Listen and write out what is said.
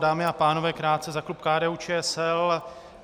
Dámy a pánové, krátce za klub KDU-ČSL.